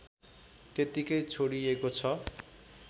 त्यतिकै छोडीएको छ